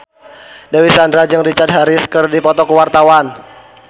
Dewi Sandra jeung Richard Harris keur dipoto ku wartawan